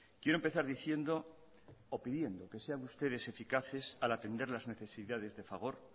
quiero empezar diciendo o pidiendo que sean ustedes eficaces al atender las necesidades de fagor